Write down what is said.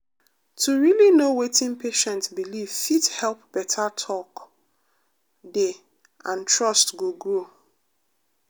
to really know wetin patient believe fit help better talk dey and trust go grow.